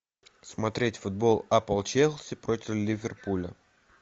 смотреть футбол апл челси против ливерпуля